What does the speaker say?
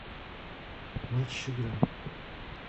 матч игра